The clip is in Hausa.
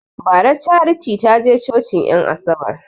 Bara charity taje cocin en asabar